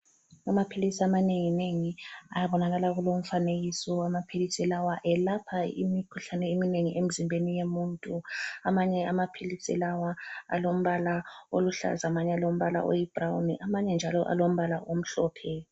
Amaphilisi amanenginengi abonakala kulomfanekiso. Amaphilisi lawa elapha imikhuhlane eminengi emzimbeni yemuntu. Amanye amaphilisi lawa alombala oluhlaza amanye alombala oyibrawuni amanye njalo alombala omhlophe.